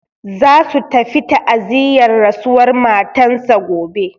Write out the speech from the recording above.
Za su tafi ta'aziyar rasuwar matan sa gobe.